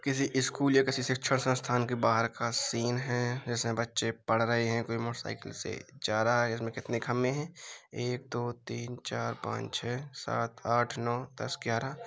किसी स्कूल या किसी शिक्षा संस्थान के बाहर का सीन है जिसमें बच्चे पढ़ रहे हैं। कोई मोटरसाइकिल से जा रहा है इसमें कितने खंभे हैं एक दो तीन चार पांच छै सात आठ नौ दस ग्यारह --